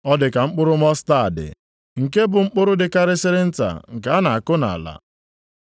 Ọ dị ka mkpụrụ mọstaadị, nke bụ mkpụrụ dịkarịsịrị nta nke a na-akụ nʼala.